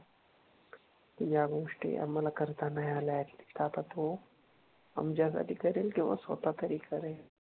या गोष्टी आम्हाला करता नाही आल्या ऍटलीस्ट आता तो आमच्या साठी करेल किंवा स्वतः तरी करेल